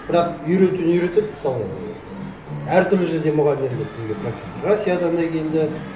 бірақ үйретуін үйретеді мысалы әртүрлі жерден мұғалімдер келді бізге практикаға россиядан да келді